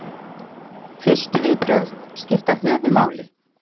Fyrstu viðbrögð skipta höfuðmáli.